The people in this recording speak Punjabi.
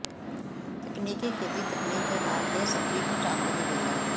ਤਕਨੀਕੀ ਖੇਤੀ ਤਕਨੀਕ ਦੇ ਨਾਲ ਇਹ ਸਬਜ਼ੀ ਉੱਚ ਆਮਦਨੀ ਦਿੰਦਾ ਹੈ